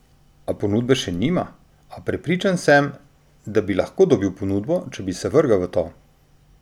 A ponudbe še nima: "A prepričan sem, da bi lahko dobil ponudbo, če bi se vrgel v to.